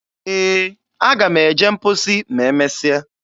Ee, aga m eje mposi ma e mesia.